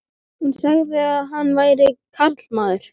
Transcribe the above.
Hún sagði að hann væri karlmaður.